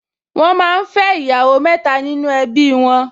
Wọ́n máa ń fẹ́ ìyàwó mẹ́ta nínú ẹbí wọn